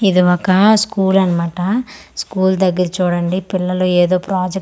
ఇది ఒక స్కూల్ అన్నమాట స్కూల్ దెగ్గర చూడండి పిల్లలు ఏదో ప్రాజెక్ట్ చెస్--